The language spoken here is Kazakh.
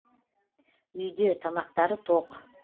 үйде тамақтары тоқ